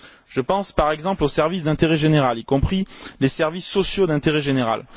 Je pense, par exemple, aux services d'intérêt général, y compris les services sociaux d'intérêt général.